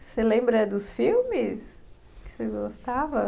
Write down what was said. Você lembra dos filmes que você gostava?